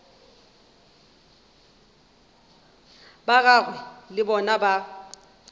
ba gagwe le bona ba